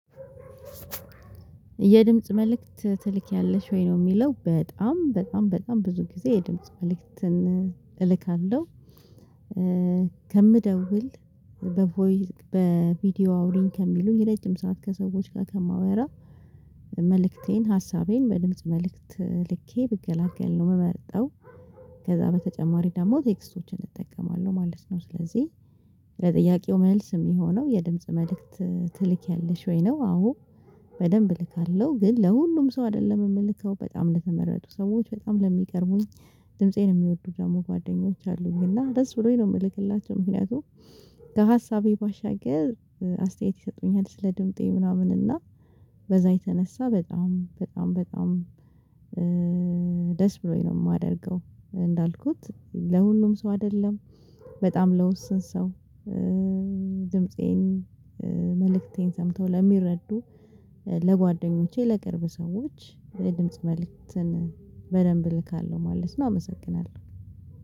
የድምጽ መልእክት ትልክያለሽ ወይ ነው የሚለው በጣም በጣም በጣም ብዙ ጊዜ የድምጽ መልእክትን እልካለሁ ከምደውል በቮይ በቪዲዮ አውሪኝ ከሚሉኝ የረጅም ሰዓት ከሰዎች ጋር ከማወራ መልእክቴን ሀሳቤን በድምጽ መልእክት ልኬ ብገላገል ነው የምመርጠው ከዛ በተጨማሪ ደግሞ ቴክስቶችን እጠቀማለሁ ማለት ነው። ስለዚህ ለጥያቄው መልስ የሚሆነው የድምጽ መልእክት ትልኪያለሽ ወይ ነው አዎ በደንብ እልካለሁ ግን ለሁሉም ሰው አይደለም የምልከው በጣም ለተመረጡ ሰዎች በጣም ለሚቀርቡኝ ድምፄን የሚወዱ ደግሞ ጓደኞች አሉኝ እና ደስ ብሎኝ ነው የምልክላቸው ምክንያቱም ከሀሳቤ ባሻገር አስተያየት ይሰጡኛል ስለ ድምጤ ምናምን እና በዛ የተነሳ በጣም በጣም በጣም ደስ ብሎኝ ነው የማደርገው እንዳልኩት ለሁሉም ሰው አይደለም በጣም ለውስን ሰው ድምፄን መልእክቴን ሰምተው ለሚረዱ ለጓደኞቼ ለቅርብ ሰዎች የድምጽ መልእክትን በደንብ እልካለሁ ማለት ነው አመሰግናለሁ።